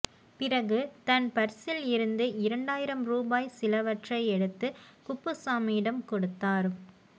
பிறகு தன் பர்சில் இருந்து இரண்டாயிரம் ரூபாய் சிலவற்றை எடுத்து குப்புசாமியிடம் கொடுத்தார்